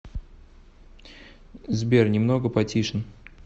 сбер немного потишн